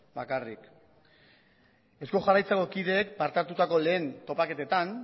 bakarrik eusko jaurlaritzako kideek parte hartutako lehen topaketetan